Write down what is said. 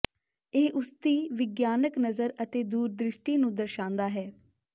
ਇਹ ਉਸਦੀ ਵਿਗਿਆਨਕ ਨਜ਼ਰ ਅਤੇ ਦੂਰਦ੍ਰਿਸ਼ਟੀ ਨੂੰ ਦਰਸ਼ਾਂਦਾ ਹੈ